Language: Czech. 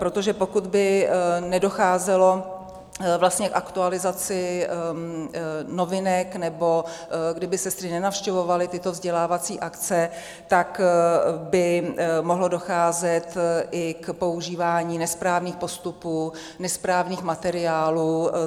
Protože pokud by nedocházelo vlastně k aktualizaci novinek, nebo kdyby sestry nenavštěvovaly tyto vzdělávací akce, tak by mohlo docházet i k používání nesprávných postupů, nesprávných materiálů.